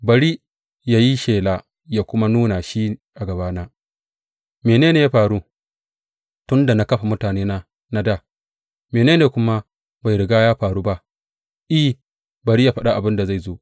Bari yă yi shela ya kuma nuna shi a gabana mene ne ya faru tun da na kafa mutanena na dā, mene ne kuma bai riga ya faru ba, I, bari yă faɗa abin da zai zo.